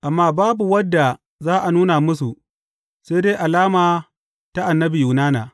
Amma babu wadda za a nuna musu, sai dai alama ta annabi Yunana.